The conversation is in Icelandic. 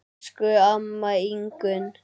Elsku amma Ingunn.